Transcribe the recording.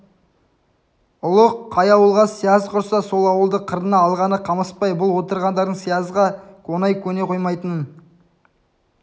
ұлық қай ауылға сияз құрса сол ауылды қырына алғаны қамысбай бұл отырғандардың сиязға оңай көне қоймайтынын